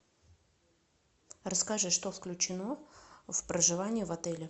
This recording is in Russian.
расскажи что включено в проживание в отеле